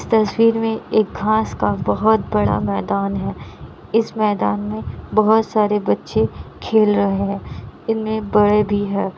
तस्वीर में एक घाँस का बहुत बड़ा मैदान है इस मैदान में बहुत सारे बच्चे खेल रहे है इनमे बड़े भी है।